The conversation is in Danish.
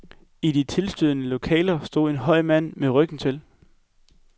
I et tilstødende lokale stod en høj mand med ryggen til.